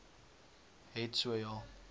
het so ja